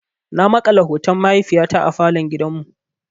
Na makala hoton mahaifiyata a falon gidan mu.